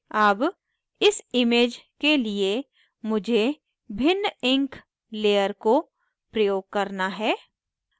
अब इस image के लिए मुझे भिन्न ink layer को प्रयोग करना है